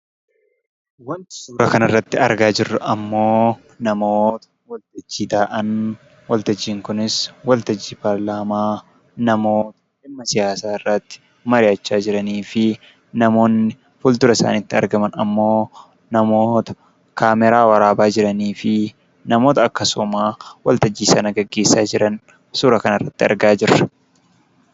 Waanti suuraa kana irratti argaa jirru immoo, namoota waltajjii taa'an, waltajjiin kunis waltajjii paarlaamaa namoota dhimma siyaasaa irratti mari'achaa jiranii fi namoonni fuldura isaaniitti argaman immoo namoota kaameeraa waraabaa jiranii fi namoota akkasuma waltajjii sana gaggeessaa jiran suura kana irratti arginu.